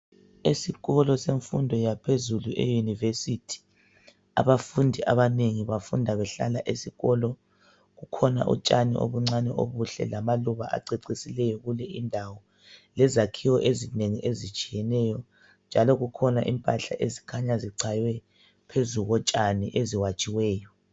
Esikolo semfundo yaphezulu eyunivesithi, abafundi abanengi bafunda behlala esikolo. Kukhona utshani obuncani obuhle lamaluba acecisileyo kule indawo lezakhiwo ezinengi ezitshiyeneyo njalo kukhona impahla ezikhanya zichaywe phezu kotshani eziwatshiweyo.